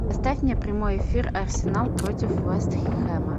поставь мне прямой эфир арсенал против вест хэма